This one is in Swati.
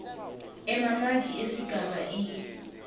emamaki esigaba e